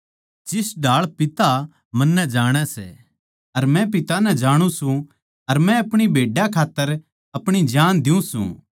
जिस ढाळ पिता मन्नै जाणै सै अर मै पिता नै जाणु सूं अर मै अपणी भेड्डां खात्तर अपणी जान दियूँ सूं